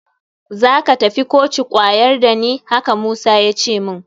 Za ka tafi koci kwayar da ni, haka Musa ya ce min